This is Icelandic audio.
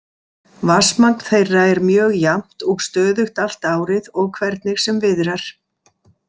Vatnsmagn þeirra er mjög jafnt og stöðugt allt árið og hvernig sem viðrar.